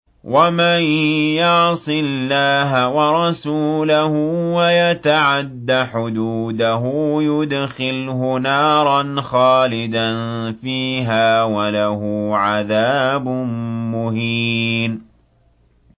وَمَن يَعْصِ اللَّهَ وَرَسُولَهُ وَيَتَعَدَّ حُدُودَهُ يُدْخِلْهُ نَارًا خَالِدًا فِيهَا وَلَهُ عَذَابٌ مُّهِينٌ